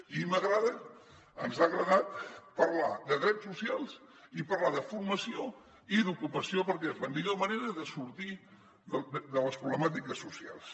i ens ha agradat parlar de drets socials i parlar de formació i d’ocupació perquè és la millor manera de sortir de les problemàtiques socials